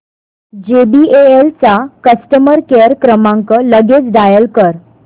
JBL चा customer care क्रमांक लगेच डायल कर